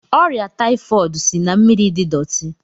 Ọrịa taifọd si na mmiri dị dọti.